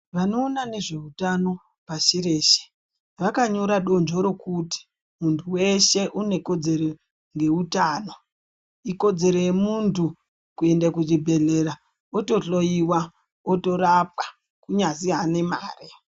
Vanoona nezveutano pashi rwshe vakanyora donzvo rekuti muntu weshe unekodzero yeku yeutano ikodzero yemuntu kuende kuchibhedhlera wotohloyiwa wotorapwa kunyazi ane mare.